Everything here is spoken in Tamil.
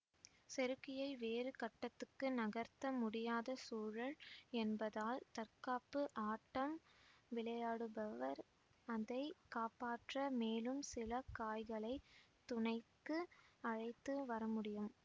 செருக்கியை வேறு கட்டத்துக்கு நகர்த்த முடியாத சூழல் என்பதால் தற்காப்பு ஆட்டம் விளையாடுபவர் அதை காப்பாற்ற மேலும் சில காய்களை துணைக்கு அழைத்து வரமுடியும்